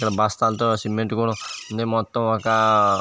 ఇక్కడ బస్తాలతో సిమెంట్ కూడా ఉంది మొత్తం ఒక --